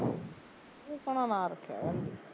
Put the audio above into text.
ਤੂੰ ਸੋਹਣਾ ਨਾ ਰੱਖਿਆ ਕਹਿੰਦੀ